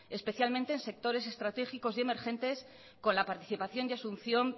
especialmente en sectores estratégicos y emergentes con la participación y asunción